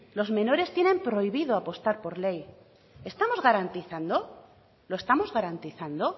los menores tienen prohibido apostar por ley estamos garantizando lo estamos garantizando